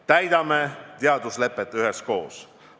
Täidame teaduslepet üheskoos!